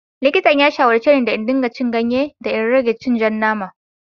Likitan ya shawarce ne da in dinga cin ganye da in rage cin ja nama.